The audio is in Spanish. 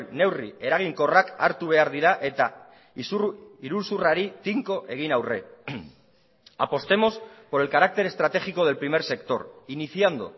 neurri eraginkorrak hartu behar dira eta iruzurrari tinko egin aurre apostemos por el carácter estratégico del primer sector iniciando